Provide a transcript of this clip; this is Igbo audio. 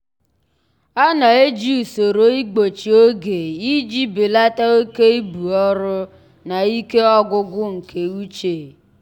ọ na-eji usoro igbochi oge iji belata oke ibu ọrụ na ike ọgwụgwụ nke uche.